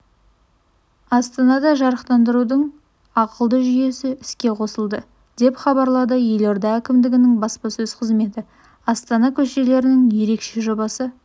астанада жарықтандырудың ақылды жүйесі іске қосылады деп хабарлады елорда әкімдігінің баспасөз қызметі астана көшелерінің ерекше жобасы